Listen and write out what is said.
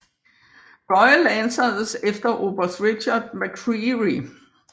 Royal Lancers efter oberst Richard McCreery